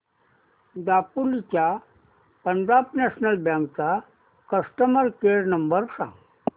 दापोली च्या Punjab national bank चा customer care number सांग